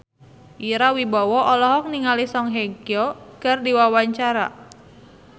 Ira Wibowo olohok ningali Song Hye Kyo keur diwawancara